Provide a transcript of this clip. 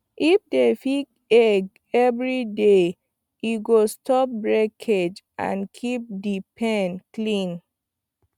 if you dey pick egg every day e go stop breakage and keep the pen clean